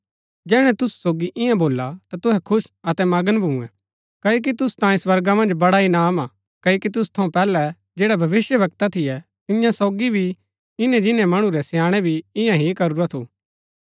जैहणै तुसु सोगी इआं भोल्ला ता तुहै खुश अतै मगन भुंयैं क्ओकि तुसु तांयें स्वर्गा मन्ज बडा इनाम हा क्ओकि तुसु थऊँ पैहलै जैड़ै भविष्‍यवक्ता थियै तियां सोगी भी इन्‍नै जिन्‍नै मणु रै स्याणै भी इआं ही करूरा थू